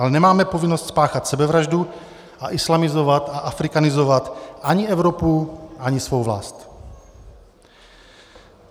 Ale nemáme povinnost spáchat sebevraždu a islamizovat a afrikanizovat ani Evropu, ani svou vlast.